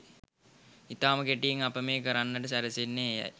ඉතාම කෙටියෙන් අප මේ කරන්නට සැරසෙන්නේ එයයි